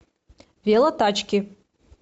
велотачки